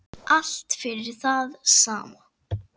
Allt fyrir það sama.